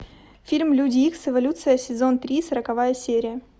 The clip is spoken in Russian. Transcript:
фильм люди икс эволюция сезон три сороковая серия